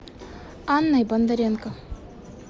анной бондаренко